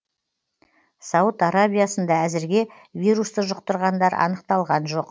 сауд арабиясында әзірге вирусты жұқтырғандар анықталған жоқ